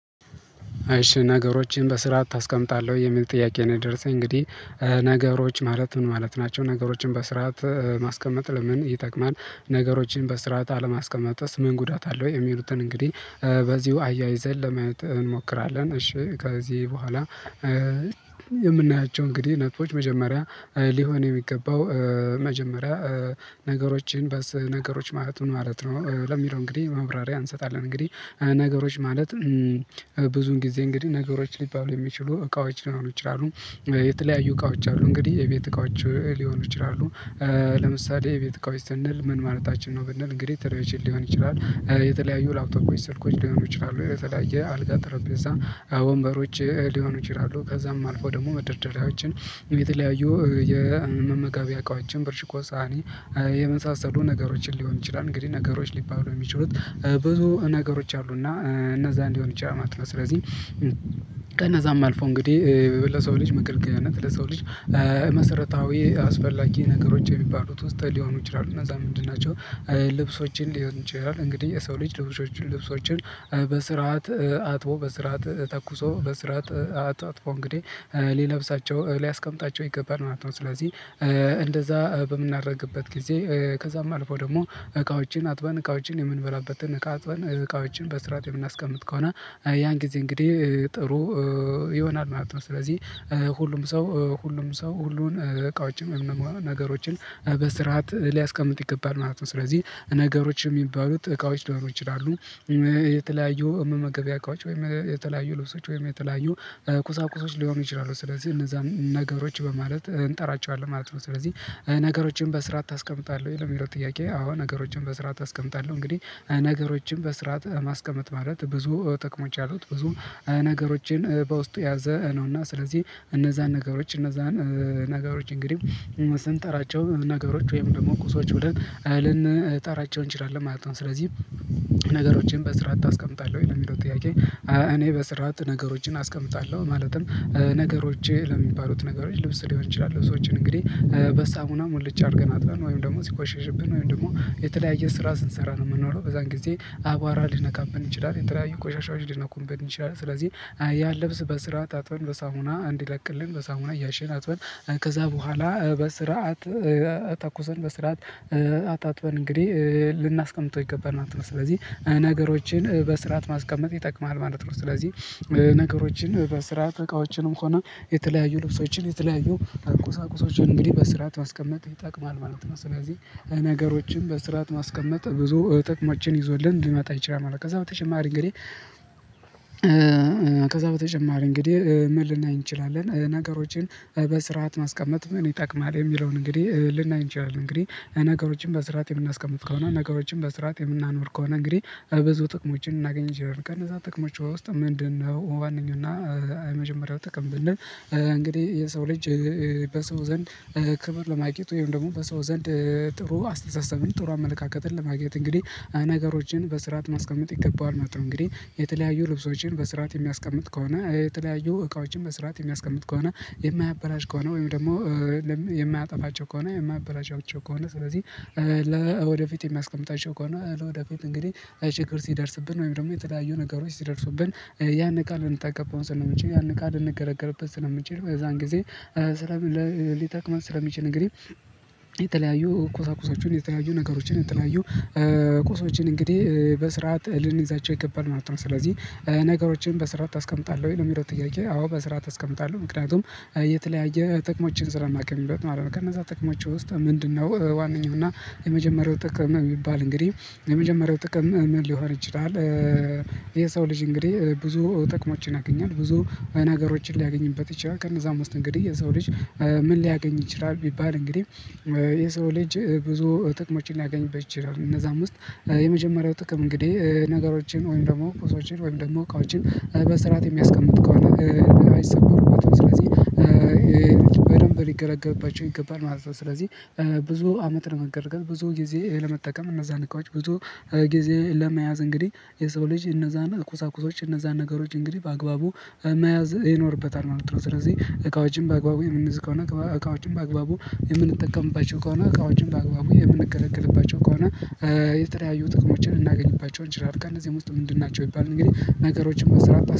እሽ ነገሮችን በስርዓት ታስቀምጣለህ ወይ የሚል ጥያቄ ነው? የደረሰኝ እንግዲህ ነገሮች ማለት ምን ማለት ናቸው? ነገሮችን በስርዓት ማስቀመጥ ለምን ይጠቅማል? ነገሮችን በስርዓት አለማስቀመጥስ ምን ጉዳት አለ? ወይ የሚሉትን እንግዲህ በዚሁ አያይዘን ለማየት እንሞክራለን። እሺ ከዚህ በኋላ የምናያቸው እንግዲህ ነጥቦች መጀመሪያ ሊሆን የሚገባው። መጀመሪያ ነገሮችን በስ ነገሮች ማለት ነው ለሚለው እንግዲህ መብራሪያ እንሰጣለን። እንግዲህ ነገሮች ማለት ብዙን ጊዜ እንግዲህ ነገሮች ሊባሉ የሚችሉ እቃዎች ሊሆኑ ይችላሉ። የተለያዩ እቃዎች አሉ እንግዲህ የቤት እቃዎች ሊሆኑ ይችላሉ። ለምሳሌ ቤት እቃዎች ስንል ምን ማለታችን ነው? ብንል እንግዲህ ቴሌቭዥን ሊሆን ይችላል። የተለያዩ ላፕቶፖች ስልኮች ሊሆኑ ይችላሉ የተለያየ አልጋ ጠረጴዛ ወንበሮች ሊሆኑ ይችላሉ። ከዛም አልፎ ደግሞ መደርደሪያዎችን የተለያዩ የመመጋቢያ እቃዎችን ብርጭቆ ሳህኒ የመሳሰሉ ነገሮችን ሊሆን ይችላል። እንግዲህ ነገሮች ሊባሉ የሚችሉት ብዙ ነገሮች አሉና እነዛ ሊሆን ይችላል ማለት ነው። ስለዚህ ከነዛም አልፎ እንግዲህ ለሰው ልጅ መገልገያነት ለሰው ልጅ መሰረታዊ አስፈላጊ ነገሮች የሚባሉት ውስጥ ሊሆኑ ይችላሉ። እነዛ ምንድን ናቸው? ልብሶችን ሊሆኑ ይችላሉ እንግዲህ የሰው ልጅ ልብሶችን በስርዓት አጥቦ በስርዓት ተኩሶ በስርዓት አጥፎ እንግዲህ ሊለብሳቸው ሊያስቀምጣቸው ይገባል ማለት ነው። ስለዚህ እንደዛ በምናደርግበት ጊዜ ከዛም አልፎ ደግሞ እቃዎችን አጥበን እቃዎችን የምንበላበትን እቃ አጥበን እቃዎችን በስርዓት የምናስቀምጥ ከሆነ ያን ጊዜ እንግዲህ ጥሩ ይሆናል ማለት ነው። ስለዚህ ሁሉም ሰው ሁሉም ሰው ሁሉን እቃዎችን ነገሮችን በስርዓት ሊያስቀምጥ ይገባል ማለት ነው። ስለዚህ ነገሮች የሚባሉት እቃዎች ሊሆኑ ይችላሉ። የተለያዩ መመገቢያ እቃዎች ወይም የተለያዩ ልብሶች ወይም የተለያዩ ቁሳቁሶች ሊሆኑ ይችላሉ ስለዚህ እነዛን ነገሮች በማለት እንጠራቸዋለን ማለት ነው። ስለዚህ ነገሮችን በስርዓት አስቀምጣለሁ የሚለው ጥያቄ አዎ ነገሮችን በስርዓት አስቀምጣለሁ። እንግዲህ ነገሮችን በስርዓት ማስቀመጥ ማለት ብዙ ጥቅሞች አሉት። ብዙ ነገሮችን በውስጡ ያዘ ነውና ስለዚህ እነዛን ነገሮች እነዛን ነገሮች እንግዲህ ስንጠራቸው ነገሮች ወይም ደግሞ ቁሶች ብለን ልንጠራቸው እንችላለን ማለት ነው። ስለዚህ ነገሮችን በስርዓት አስቀምጣለሁ ወይ የሚለው ጥያቄ? እኔ በስርዓት ነገሮችን አስቀምጣለሁ ማለትም ነገሮቼ ለሚባሉት ነገሮች ልብስ ሊሆን ይችላል። ልብሶችን እንግዲህ በሳሙናም ሙልጭ አድርገን ወይም ደግሞ ሲቆሸሽብን ወይም ደግሞ የተለያየ ስራ ስንሰራ ነው ምንኖረው በዛን ጊዜ አቧራ ሊነካብን ይችላል የተለያዩ ቆሻሻዎች ሊነኩብን ይችላል። ስለዚህ ያን ልብስ በስርዓት አጥበን በሳሙና እንዲለቅልን በሳሙና እያሸን አጥበን ከዛ በኋላ በስርዓት ተኩሰን በስርዓት አጣጥበን እንግዲህ ልናስቀምጠው ይገባል ማለት ነው። ስለዚህ ነገሮችን በስርዓት ማስቀመጥ ይጠቅማል ማለት ነው። ስለዚህ ነገሮችን በስራ እቃዎችንም ሆነ የተለያዩ ልብሶችን የተለያዩ ቁሳቁሶችን እንግዲህ በስርዓት ማስቀመጥ ይጠቅማል ማለት ነው። ስለዚህ ነገሮችን በስርዓት ማስቀመጥ ብዙ ጥቅሞችን ይዞልን ሊመጣ ይችላል። ከዛ በተጨማሪ እንግዲህ ከዛ በተጨማሪ እንግዲህ ምን ልናይ እንችላለን? ነገሮችን በስርዓት ማስቀመጥ ምን ይጠቅማል የሚለውን እንግዲህ ልናይ እንችላለን። እንግዲህ ነገሮችን በስርዓት የምናስቀምጥ ከሆነ ነገሮችን በስርዓት የምናኖር ከሆነ እንግዲህ ብዙ ጥቅሞችን ልናገኝ እንችላለን። ከነዛ ጥቅሞቿዋ ውስጥ ምንድን ነው? ዋነኛው እና የመጀመሪያው ጥቅም ብንል እንግዲህ የሰው ልጅ በሰው ዘንድ ክብር ለማግኘት ወይም ደግሞ በሰው ዘንድ ጥሩ አስተሳሰብን ጥሩ አመለካከትን ለማግኘት እንግዲህ ነገሮችን በስርዓት ማስቀመጥ ይገባዋል ማለት ነው። እንግዲህ የተለያዩ ልብሶችን በስርዓት የሚያስቀምጥ ከሆነ የተለያዩ እቃዎችን በስርዓት የሚያስቀምጥ ከሆነ የማያበላሽ ከሆነ ወይም ደግሞ የማያጠፋቸው ከሆነ የማበላሻቸው ከሆነ ስለዚህ ለወደፊት የሚያስቀምጣቸው ከሆነ ለወደፊት እንግዲህ አይ ችግር ሲደርስብን ወይም ደግሞ የተለያዩ ነገሮች ሲደርሱብን ያን እቃ ልንጠቀም ስለምንችል ያን እቃ ልንገለገልበት ስለምንችል በዛን ጊዜ ስለ ሊጠቅመን ስለሚችል እንግዲህ የተለያዩ ቁሳቁሶችን የተለያዩ ነገሮችን የተለያዩ ቁሶችን እንግዲህ በስርዓት ልንይዛቸው ይገባል ማለት ነው። ስለዚህ ነገሮችን በስርዓት አስቀምጣለሁ ወይ ነው የሚለው ጥያቄ? አዎ በስርዓት አስቀምጣለሁ ምክንያቱም የተለያየ ጥቅሞችን ስለማገኝበት ማለት ነው። ከነዛ ጥቅሞች ውስጥ ምንድን ነው? ዋነኛው እና የመጀመሪያው ጥቅም የሚባል እንግዲህ የመጀመሪያው ጥቅም ምን ሊሆን ይችላል? የሰው ልጅ እንግዲህ ብዙ ጥቅሞችን ያገኛል። ብዙ መናገሮችን ሊያገኝበት ይችላል ከነዛ ውስጥ እንግዲህ የሰው ልጅ ምን ሊያገኝ ይችላል? ቢባል እንግዲህ የሰው ልጅ ብዙ ጥቅሞችን ሊያገኝበት ይችላል። እነዛም ውስጥ የመጀመሪያው ጥቅም እንግዲህ ነገሮችን ወይም ደግሞ ቁሶችን ወይም ደግሞ እቃዎችን በስርዓት የሚያስቀምጥ ከሆነ አይሰበሩበትም ስለዚህ በደንብ ሊገለገልባቸው ይገባል ማለት ነው። ስለዚህ ብዙ አመት ነው ለመገልገል ብዙ ጊዜ ለመጠቀም እነዛን እንቃዎች ብዙ ጊዜ ለመያዝ እንግዲህ የሰው ልጅ እነዛን ቁሳቁሶች እነዛን ነገሮች እንግዲህ በአግባቡ መያዝ ይኖርበታል ማለት ነው። ስለዚህ እቃዎችን በአግባቡ የምንይዝ ከሆነ እቃዎችን በአግባቡ የምንጠቀምባቸው ከሆነ እቃዎችን በአግባቡ የምንገለግልባቸው ከሆነ የተለያዩ ጥቅሞችን ልናገኝባቸው እንችላለን። ከእነዚህም ውስጥ ምንድን ናቸው ቢባል እንግዲህ ነገሮችን በስርዓት